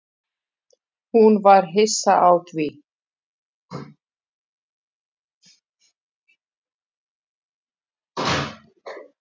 Hún var hissa á því.